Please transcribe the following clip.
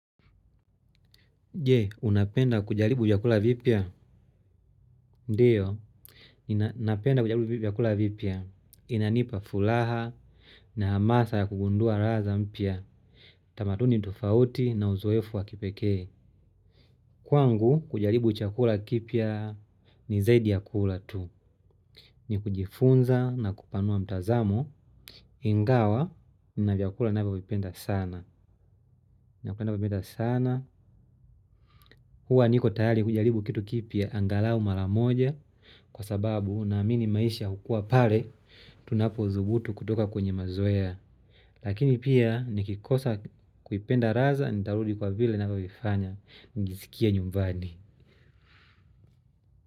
Je, unapenda kujaribu vyakula vipya? Ndiyo, napenda kujaribu yvakula vipya. Inanipa furaha na hamasa ya kugundua raha za mpya. Tamaduni tofauti na uzoefu wa kipekee. Kwangu, kujaribu chakula kipya ni zaidi ya kula tu. Ni kujifunza na kupanua mtazamo. Ingawa nina vyakula ninavyovipenda sana napenda vipenda sana. Huwa niko tayari kujaribu kitu kipya, angalau mara moja. Kwa sababu, naamini maisha hukua pale, tunapodhubutu kutoka kwenye mazoea. Lakini pia, nikikosa kuipenda radha, nitarudi kwa vile ninavyovifanya, nijisikie nyumbani.